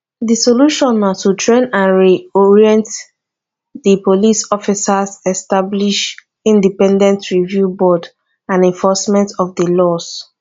di solution na to train and reorient di police officers establish independent review board and enforcement of di laws